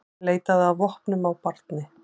Leitaði að vopnum á barni